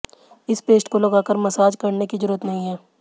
इस पेस्ट को लगाकर मसाज करने की जरूरत नहीं है